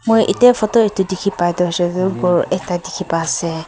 moi etya photo edu dikhipa toh ghor ekta dikhi paiasi.